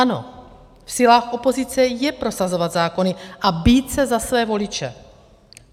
Ano, v silách opozice je prosazovat zákony a bít se za své voliče.